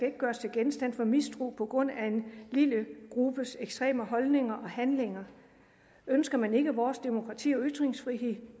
genstand for mistro på grund af en lille gruppes ekstreme holdninger og handlinger ønsker man ikke vores demokrati og ytringsfrihed